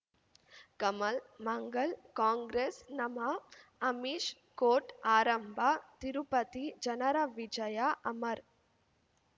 ಕಮಲ್ ಮಂಗಳ್ ಕಾಂಗ್ರೆಸ್ ನಮಃ ಅಮಿಷ್ ಕೋರ್ಟ್ ಆರಂಭ ತಿರುಪತಿ ಜನರ ವಿಜಯ ಅಮರ್